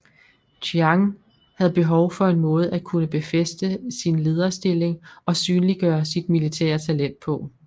Chiang havde behov for en måde at kunne befæste sin lederstilling og synliggøre sit militære talent på